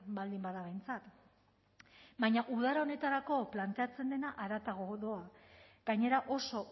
baldin bada behintzat baina udara honetarako planteatzen dena haratago doa gainera oso